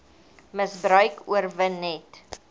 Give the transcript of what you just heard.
misbruik oorwin net